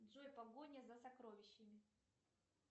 джой погоня за сокровищами